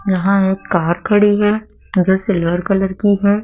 यहां एक कार खड़ी है जो सिल्वर कलर की है।